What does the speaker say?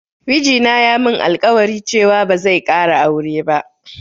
Miji na ya min alƙwari cewa ba zai ƙara aure ba